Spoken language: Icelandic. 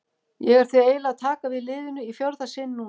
Ég er því eiginlega að taka við liðinu í fjórða sinn núna.